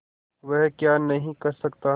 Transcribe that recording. वह क्या नहीं कर सकता